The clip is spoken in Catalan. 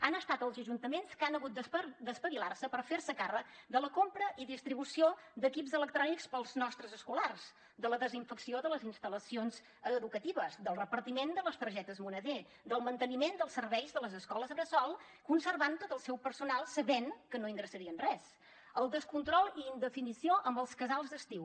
han estat els ajuntaments que han hagut d’espavilar se per ferse càrrec de la compra i distribució d’equips electrònics per als nostres escolars de la desinfecció de les instal·lacions educatives del repartiment de les targetes moneder del manteniment dels serveis de les escoles bressol conservant tot el seu personal sabent que no ingressarien res el descontrol i indefinició amb els casals d’estiu